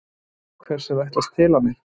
Hvers er ætlast til af mér?